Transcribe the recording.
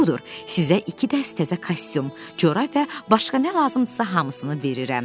Budur, sizə iki dəst təzə kostyum, corab və başqa nə lazımdırsa, hamısını verirəm.